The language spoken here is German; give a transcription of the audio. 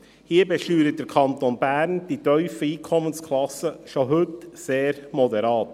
Hier, bei den tiefen Einkommensklassen, besteuert der Kanton Bern schon heute sehr moderat.